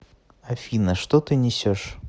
афина что ты несешь